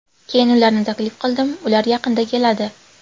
Keyin ularni taklif qildim, ular yaqinda keladi.